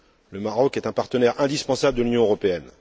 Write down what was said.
Le Maroc est un partenaire indispensable de l'Union européenne.